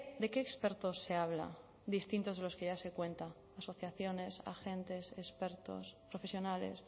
de qué expertos se habla distintos de los que ya se cuenta asociaciones agentes expertos profesionales